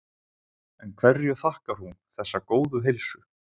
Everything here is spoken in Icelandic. En hverju þakkar hún þessa góðu heilsu?